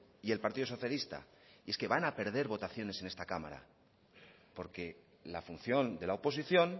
y el partido socialista y es que van a perder votaciones en esta cámara porque la función de la oposición